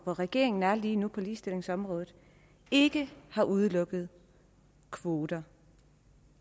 regeringen er i lige nu på ligestillingsområdet ikke har udelukket kvoter